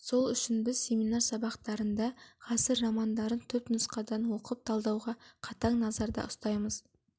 сол үшін біз семинар сабақтарында ғасыр романдарын түп нұсқадан оқып талдауға қатаң назарда ұстаймыз